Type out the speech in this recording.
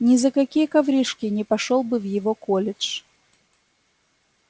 ни за какие коврижки не пошёл бы в его колледж